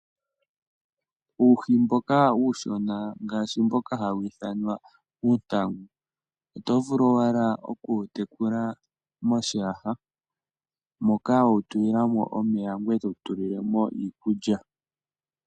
Uuhi mboka uushona ngaashi mboka hawu ithanwa uuntango, oto vulu owala oku wu tekula moshiyaha moka we wu tulila mo omeya ngweye to wu tulile mo iikulya.